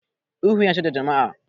Ihu yana cutar da jama'a.